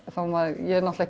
ég er náttúrulega